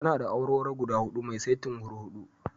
Tana da awarwaro guda huɗu mai saitin hurhuɗu.